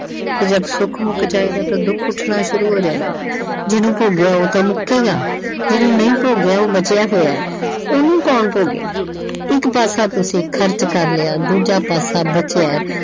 ਕਿ ਜਦ ਸੁੱਖ ਮੁੱਕ ਜਾਏਗਾ ਤਾਂ ਦੁੱਖ ਉੱਠਣਾ ਸ਼ੁਰੂ ਹੋ ਜਾਏਗਾ ਜਿਹਨੂੰ ਭੋਗਿਆ ਉਹ ਤਾਂ ਮੁੱਕੇਗਾ ਜਿਹਨੂੰ ਨਹੀਂ ਭੋਗਿਆ ਉਹ ਬਚਿਆ ਹੋਇਆ ਉਹਨੂੰ ਕੋਣ ਭੋਗੇਗਾ। ਇੱਕ ਪਾਸਾ ਤੁਸੀਂ ਖਰਚ ਕਰ ਲਿਆ ਦੂਜਾ ਪਾਸਾ ਬਚਿਆ